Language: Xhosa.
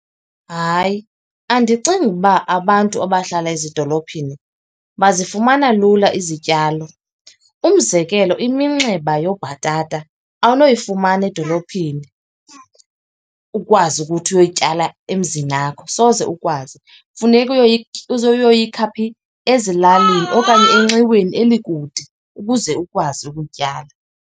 Hayi andicingi ukuba abantu abahlala ezidolophini bazifumana lula izityalo. Umzekelo, iminxeba yoobhatata awunoyifumana edolophini ukwazi ukuthi uyoyityala emzinakho, soze ukwazi. Funeka uyoyikha phi, ezilalini okanye enxiweni elikude ukuze ukwazi ukutyala.